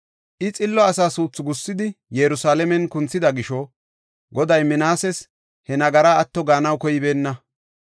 I xillo asa suuthu gussidi, Yerusalaamen kunthida gisho, Goday Minaases he nagaraa atto gaanaw koybeenna.